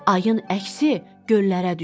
Ayın əksi göllərə düşür.